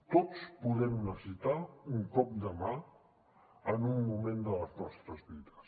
tots podem necessitar un cop de mà en un moment de les nostres vides